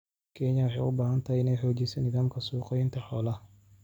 Kenya waxay u baahan tahay inay xoojiso nidaamka suuq-geynta xoolaha.